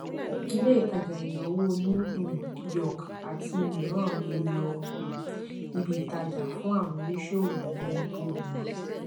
ilé ìtajà ìnáwó new um york àti mìíràn ń lo um ibi ìtajà fún àwọn oníṣòwò ní òwò wọn